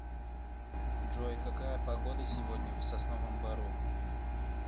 джой какая погода сегодня в сосновом бору